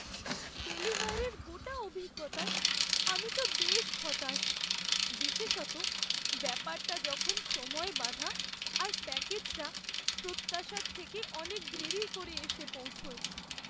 ডেলিভারির গোটা অভিজ্ঞতায় আমি তো বেশ হতাশ, বিশেষত ব্যাপারটা যখন সময়ে বাঁধা আর প্যাকেজটা প্রত্যাশার থেকে অনেক দেরি করে এসে পৌঁছয়।